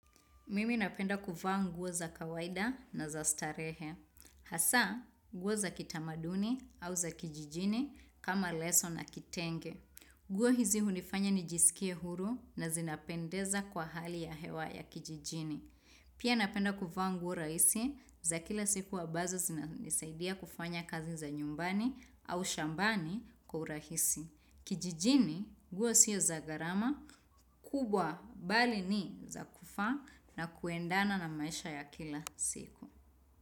Mimi napenda kuvaa nguo za kawaida na za starehe. Hasa, nguo za kitamaduni au za kijijini kama leso na kitenge. Nguo hizi hunifanya nijisikie huru na zinapendeza kwa hali ya hewa ya kijijini. Pia napenda kuvaa nguo rahisi za kila siku ambazo zinanisaidia kufanya kazi za nyumbani au shambani kwa urahisi. Kijijini nguo siyo za garama kubwa bali ni za kufaa na kuendana na maisha ya kila siku.